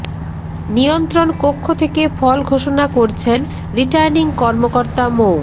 নিয়ন্ত্রণ কক্ষ থেকে ফল ঘোষণা করছেন রিটার্নিং কর্মকর্তা মো